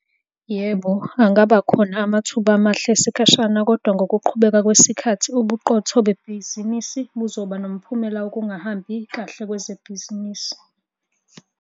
Yebo, angaba khona amathuba amahle esikhashana kodwa ngokuqhubeka kwesikhathi ubuqotho bebhizinisi buzoba nomphumela wokungahambi kahle kwebhizinisi.